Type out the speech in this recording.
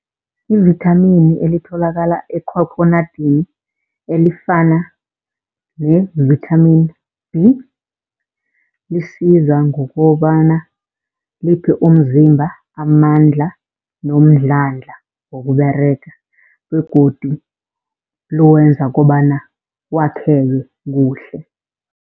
Ivithamini elitholakala ekhokhonadini elifana ne-vitamin B, lisiza ngokobana liphe umzimba amandla nomdlandla wokUberega begodu liwenza kobana wakheke kuhle.